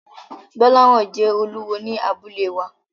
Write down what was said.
Gbolahan jẹ́ olúwo ní abúlé wa.